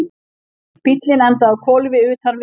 Bíllinn endaði á hvolfi utan vegar